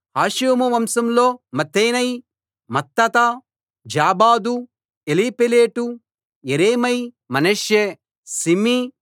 హాషుము వంశంలో మత్తెనై మత్తత్తా జాబాదు ఎలీపేలెటు యెరేమై మనష్షే షిమీ